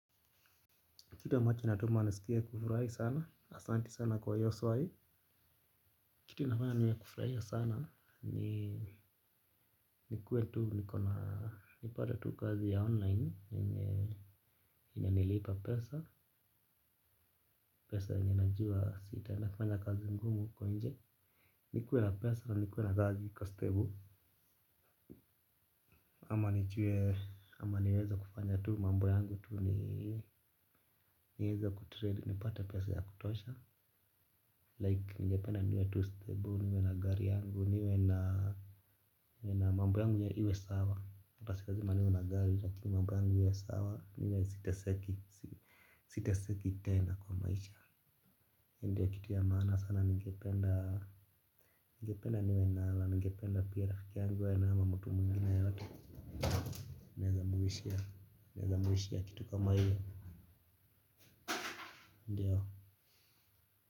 Kile amacho natumai naskia kufurahi sana, asanti sana kwa iyoswai. Kitu inafanya niwe wa kufurahia sana ni nikuwe tu, nipate tu kazi ya online, inayonilipa pesa, pesa ninayojua sitafanya kazi ngumu huko nje. Nikuwe na pesa nikuwe na kazi iko stable ama niweze kufanya tu mambo yangu tu, niweze kutrade, nipate pesa ya kutosha. Ningependa niwe tu stable, niwe na gari yangu, niwe na mambo yangu iwe sawa. Ata si lazima niwe na gari lakini mambo yangu iwe sawa, niwe siteseki. Siteseki tena kwa maisha. Ndiyo kitu ya maana sana ningependa, ningependa niwe na hela, ningependa pia rafiki yangu awe nayo ama mtu mwingine yeyote, naeza muwishia kitu kama hio, ndiyo.